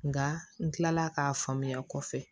Nka n kilala k'a faamuya kɔfɛ